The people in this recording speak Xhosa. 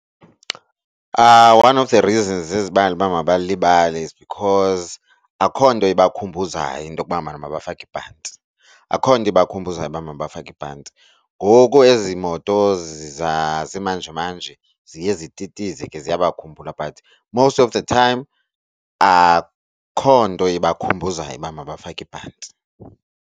One of the reasons ezibangela uba babalibale is because akho nto ibakhumbuzayo into kubana mabafake ibhanti, akho nto ibakhumbuza uba mabafake ibhanti ngoku ezi moto zasimanjemanje ziye zititize ke ziyabakhumbula. But most of the time akho nto ibakhumbuzayo uba mabafake ibhanti.